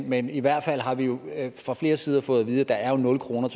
men i hvert fald har vi jo fra flere sider fået at vide at der er nul kroner